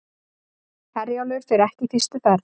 Herjólfur fer ekki fyrstu ferð